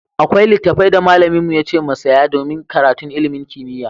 Akwai littafai da malamin mu yace mu saya domin karatun ilimin kimiyya.